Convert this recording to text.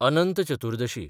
Anant Chaturdashi